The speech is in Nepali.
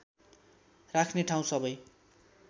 राख्ने ठाउँ सबै